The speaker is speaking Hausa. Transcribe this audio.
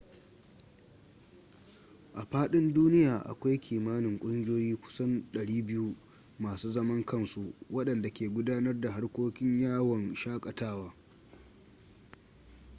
a fadin duniya akwai kimanin ƙungiyoyi kusan 200 masu zaman kansu wadanda ke gudanar da harkokin yawon shaƙatawa